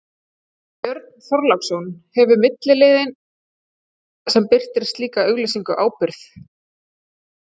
Björn Þorláksson: Hefur miðillinn sem birtir slíka auglýsingu ábyrgð?